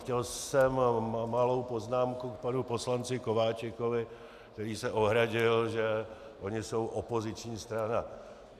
Chtěl jsem malou poznámku k panu poslanci Kováčikovi, který se ohradil, že oni jsou opoziční strana.